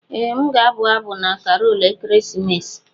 Ee m ga-abụ abụ na Karol ekeresimesi.